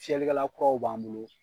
Fiyɛli kɛla kuraw b'an bolo.